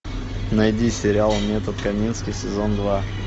найди серия метод камински сезон два